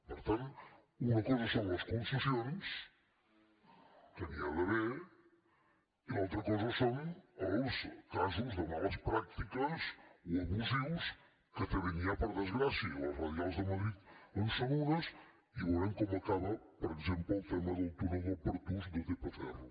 per tant una cosa són les concessions que n’hi ha d’haver i l’altra cosa són els casos de males pràctiques o abusius que també n’hi ha per desgràcia i les radials de madrid en són unes i veurem com acaba per exemple el tema del túnel del pertús de tp ferro